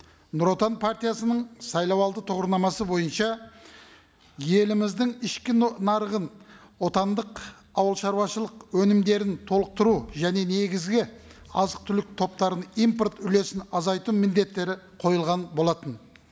нұр отан партиясының сайлау алды тұғырнамасы бойынша еліміздің ішкі нарығын отандық ауыл шаруашылық өнімдерін толықтыру және негізгі азық түлік топтарын импорт үлесін азайту міндеттері қойылған болатын